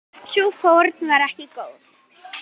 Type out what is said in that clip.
Sú fórn var ekki góð.